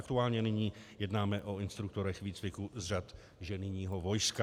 Aktuálně nyní jednáme o instruktorech výcviku z řad ženijního vojska.